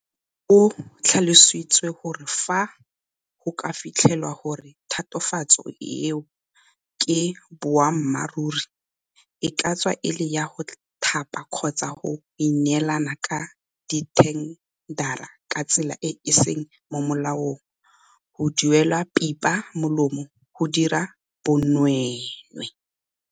O tlhalositse gore fa go ka fitlhelwa gore tatofatso eo ke boammaruri, e ka tswa e le ya go thapa kgotsa go neelana ka dithendara ka tsela e e seng mo molaong, go duelwa pipa molomo, go dira bonweenwee